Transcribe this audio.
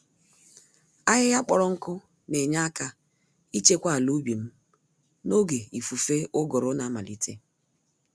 Ahịhịa kpọrọ nkụ Na-Enye àkà ichekwa àlà ubim n'oge ifufe ụgụrụ na-amalite